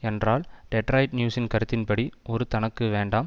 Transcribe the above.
என்றால் டெட்ராயிட் நியூஸின் கருத்தின்படி ஒரு தனக்கு வேண்டாம்